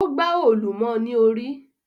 O gba òòlù mọ ní orí